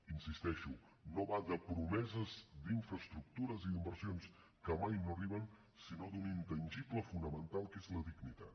hi insisteixo no va de promeses d’infraestructures i d’inversions que mai no arriben sinó d’un intangible fonamental que és la dignitat